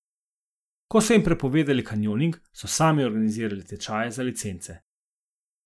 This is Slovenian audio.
Ko so jim prepovedali kanjoning, so sami organizirali tečaje za licence.